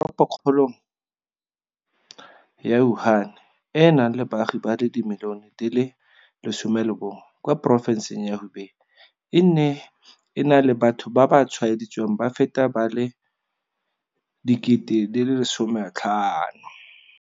Teropokgolong ya Wuhan, e e nang le baagi ba le dimilione di le 11 kwa porofenseng ya Hubei, e ne e na le batho ba ba tshwaeditsweng ba feta ba le 50 000.